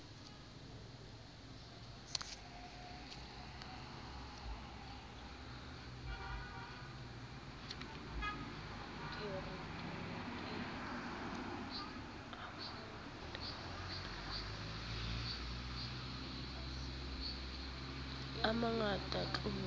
a mangata tlolo ha ho